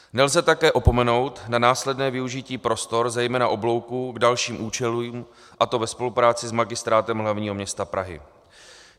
Nelze také opomenout na následné využití prostor zejména oblouků k dalším účelům, a to ve spolupráci s Magistrátem hlavního města Prahy.